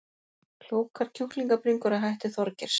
Klókar kjúklingabringur að hætti Þorgeirs